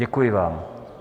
Děkuji vám.